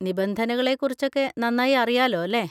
നിബന്ധനകളെ കുറിച്ചൊക്കെ നന്നായി അറിയാലോ അല്ലെ?